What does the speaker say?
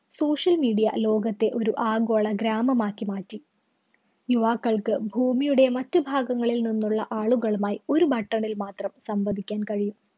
social media ലോകത്തെ ഒരു ആഗോള ഗ്രാമമാക്കി മാറ്റി. യുവാക്കള്‍ക്ക് ഭൂമിയുടെ മറ്റു ഭാഗങ്ങളില്‍ നിന്നുള്ള ആളുകളുമായി ഒരു button ല്‍ മാത്രം സംവദിക്കാൻ കഴിയും.